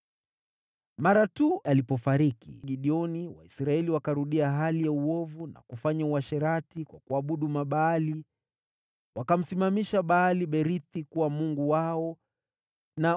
Mara tu alipofariki Gideoni, Waisraeli wakarudia hali ya uovu na kufanya uasherati kwa kuabudu Mabaali. Wakamsimamisha Baal-Berithi kuwa mungu wao na